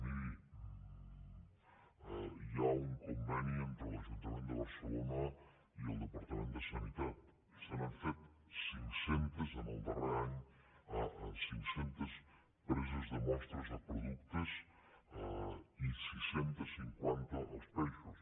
miri hi ha un conveni entre l’ajuntament de barcelona i el departament de sanitat se n’han fet cinc centes en el darrer any cinc centes preses de mostres de productes i sis cents i cinquanta als peixos